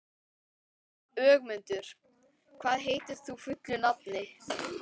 Ögmundur, hvað heitir þú fullu nafni?